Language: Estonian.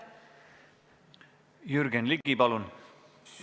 Jürgen Ligi, palun!